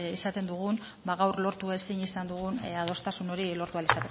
izaten dugun gaur lortu ezin izan dugun adostasun hori lortu ahal